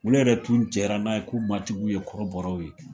Olu yɛrɛ tun jɛra n'a ye k'u matigiw ye kɔrɔbɔrɔw ye